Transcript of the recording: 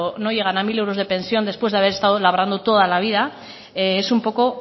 no llegan a mil euros de pensión después de haber estado labrando toda la vida es un poco